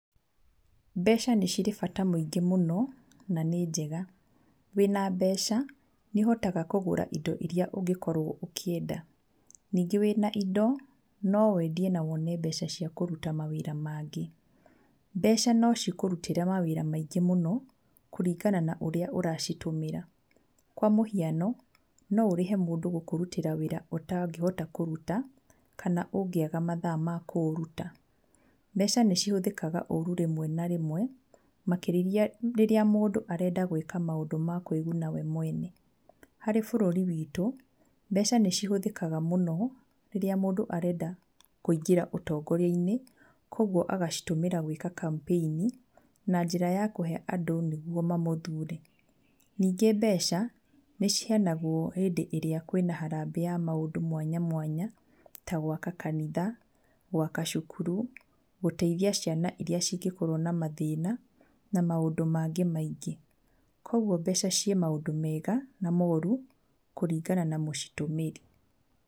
Mbeca nĩ cirĩ bata mũingĩ mũno na nĩ njega, wĩna mbeca nĩũhotaga kũgũra indo irĩa ũngĩkorwo ũkĩenda, ningĩ wĩ na indo no wendie na wone mbeca cia kũruta mawĩra mangĩ. Mbeca no cikũrutĩre mawĩra maingĩ mũno kũringana na ũrĩa ũracitũmĩra, kwa mũhiano, noũrĩhe mũndũ gũkũrutĩra wĩra ũtangĩhota kũruta kana ũngĩaga mathaa makũũruta. Mbeca nĩcihũthĩkaga ũru rĩmwe na rĩmwe, makĩria rĩrĩa mũndũ arenda gwĩka maũndũ ma kwĩguna we mwene. Harĩ bũrũri witũ mbeca nĩcihũthikaga mũno rĩrĩa mũndũ arenda kũingĩra ũtongoria-inĩ, kwoguo agacitũmĩra gwĩka kambeini na njĩra ya kũhe andũ nĩguo mamũthure. Ningĩ mbeca nĩ ciheyanagwo hĩndĩ ĩrĩa kwĩ na harambĩ ya maũndũ mwanya mwanya, ta gwaka kanitha, gwaka cukuru, gũteithia ciana iria cingĩkorwo na mathĩna na maũndũ mangĩ maingĩ, kwoguo mbeca ciĩ maũndũ mega na moru kũringana na mũcitũmĩri.